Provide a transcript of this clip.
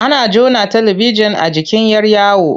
Ana jona talibijin a jikin 'yar yawo.